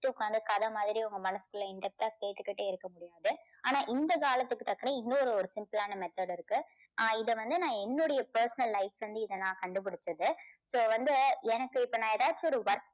உட்காந்து கதை மாதிரி உங்க மனசுக்குள்ள in depth ஆ கேட்டுகிட்டே இருக்க முடியாது. ஆனா இந்த காலத்துக்கு தக்கன இன்னொரு ஒரு simple ஆன method இருக்கு. இதை வந்து நான் என்னுடைய personal life ல இருந்து இதை நான் கண்டுபிடிச்சது. so வந்து எனக்கு இப்போ நான் ஏதாச்சும் ஒரு work